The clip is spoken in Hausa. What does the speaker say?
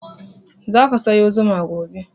Za ka sayo zuma gobe.